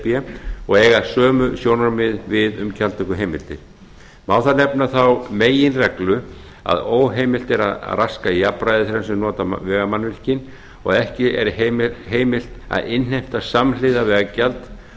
b og eiga sömu sjónarmið við um gjaldtökuheimildir má þar nefna þá meginreglu að óheimilt er að raska jafnræði þeirra sem nota vegamannvirkin og ekki er heimilt að innheimta samhliða veggjald